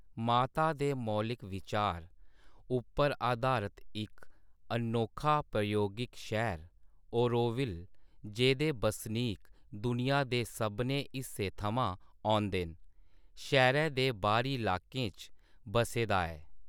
माता दे मौलिक विचार उप्पर आधारत इक अनोखा प्रयोगिक शैह्‌र ऑरोविल, जेह्दे बसनीक दुनिया दे सभनें हिस्सें थमां औंदे न, शैह्‌रै दे बाह्‌री इलाकें च बस्से दा ऐ।